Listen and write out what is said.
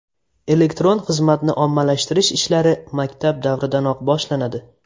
Elektron xizmatni ommalashtirish ishlari maktab davridanoq boshlanadi.